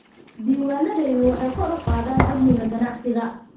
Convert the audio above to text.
Diiwaanadayadu waxay kor u qaadaan amniga ganacsiga.